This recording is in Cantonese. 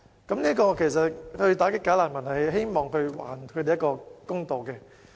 他們之所以想打擊"假難民"，是希望還自己一個公道。